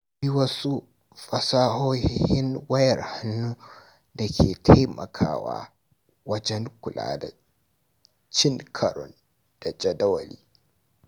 Akwai wasu fasahohin wayar hannu da ke taimakawa wajen kula da cin karon jadawali.